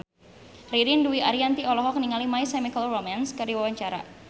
Ririn Dwi Ariyanti olohok ningali My Chemical Romance keur diwawancara